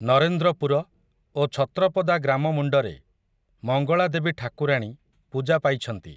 ନରେନ୍ଦ୍ରପୁର, ଓ ଛତ୍ରପଦାଗ୍ରାମ ମୁଣ୍ଡରେ, ମଙ୍ଗଳାଦେବୀ ଠାକୁରାଣୀ, ପୂଜା ପାଇଛନ୍ତି ।